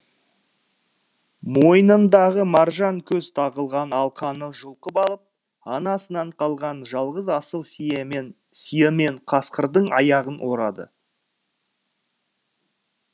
мойнындағы маржан көз тағылған алқаны жұлқып алып анасынан қалған жалғыз асыл сиымен қасқырдың аяғын орады